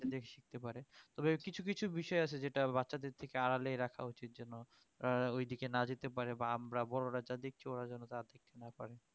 শিখতে পারে তবে কিছু কিছু বিষয় আছে যেটা বাচ্চাদের থেকে আড়ালেই রাখা উচিৎ যেন উহ ওইদিকে না যেতে পারে বা আমরা বড়রা যা দেখতে ওরা যেন তা দেখতে না পারে